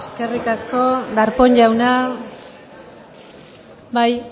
eskerrik asko darpón jauna bai